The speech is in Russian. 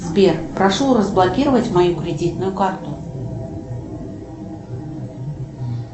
сбер прошу разблокировать мою кредитную карту